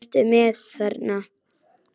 Hvað ertu með þarna?